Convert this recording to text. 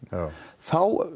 þá